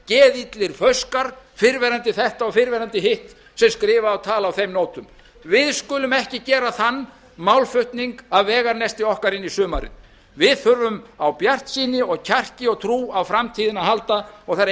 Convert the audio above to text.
gamlir geðillir fauskar fyrrverandi þetta og fyrrverandi hitt sem skrifa og tala á þeim nótum við skulum ekki gera þann málflutning að veganesti okkar inn í sumarið við þurfum á bjartsýni og kjarki og trú á framtíðina að halda og það er